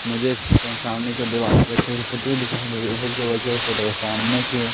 मुझे सामने का दीवार के पुटी दिखाई दे रही है सामने की ओर--